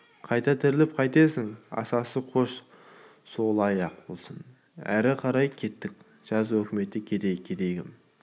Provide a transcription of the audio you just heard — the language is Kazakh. қайта тірілтіп қайтесің асасы қош солай-ақ болсын әрі қарай кеттік жаз өкімет кедейдікі кедей кім